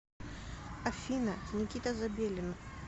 афина никита забелин